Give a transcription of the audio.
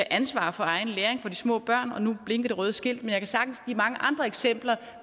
ansvaret for egen læring for de små børn og nu blinker det røde skilt men jeg kan sagtens give mange andre eksempler